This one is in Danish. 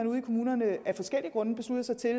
ude i kommunerne af forskellige grunde beslutter sig til at